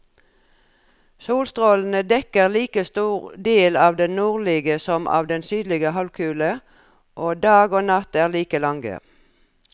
Solstrålene dekker like stor del av den nordlige som av den sydlige halvkule, og dag og natt er like lange.